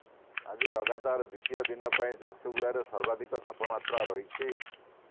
ଆଜି ଲଗାତାର ଦ୍ୱିତୀୟ ଦିନ ପାଇଁ ଝାରସୁଗୁଡ଼ାରେ ସର୍ବାଧିକ ତାପମାତ୍ରା ରହିଛି